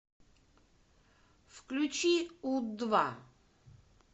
включи у два